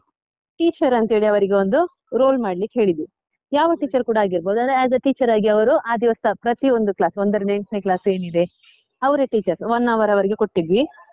teacher ಅಂತ ಹೇಳಿ ಅವರಿಗೆ ಒಂದು role ಮಾಡ್ಲಿಕ್ಕೆ ಹೇಳಿದ್ವಿ, ಯಾವ teacher ಕೂಡ ಆಗಿರ್ಬೋದು ಅಂದ್ರೆ as a teacher ಆಗಿ ಅವರು, ಆ ದಿವಸ ಪ್ರತಿಯೊಂದು class ಒಂದರಿಂದ eighth class ಏನಿದೆ, ಅವ್ರೇ teachers one hour ಅವರಿಗೆ ಕೊಟ್ಟಿದ್ವಿ.